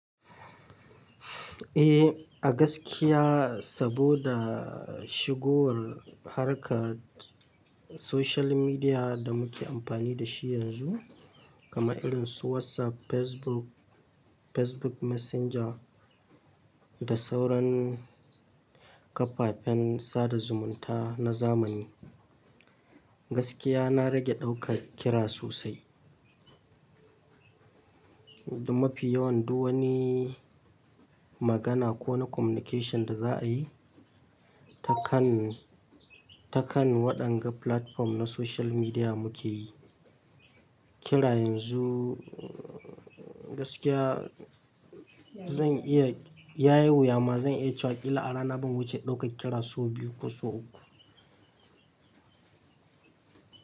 Eh, a gaskiya saboda shigowar harkar social media da muke amfani da shi yanzu, kamar irin su WhatsApp, Facebook, Facebook Messenger da sauran kafafen sada zumunta na zamani. Gaskiya na rage ɗaukar kira sosai. Da mafi yawan duk wani magana ko na communication da za a yi, ta kan, ta kan waɗanga platform na social media muke yi. Kira yanzu, gaskiya zan iya, ya yi wuya ma zan iya cewa illa a rana ban wuce ɗaukar kira so biyu ko so uku.